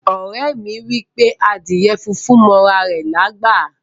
Ore mi wipe adíè fúnfún mọ ara rè lágbá.